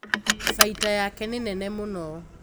Faita yake nĩ nene mũno